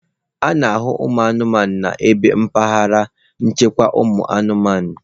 A na-ahụ anụmanụ n'ime ebe mpaghara nchekwa ụmụanụmanụ.